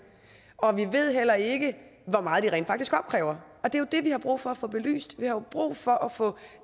og vi ved heller ikke hvor meget de rent faktisk opkræver det er jo det vi har brug for at få belyst vi har brug for at få